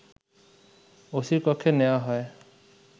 ওসির কক্ষে নেয়া হয়